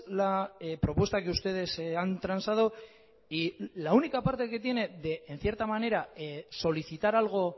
la propuesta que ustedes han transado y la única parte que tiene en cierta manera solicitar algo